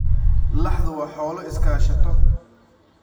Laxdu waa xoolo iskaashato.